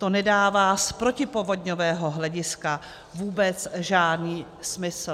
To nedává z protipovodňového hlediska vůbec žádný smysl."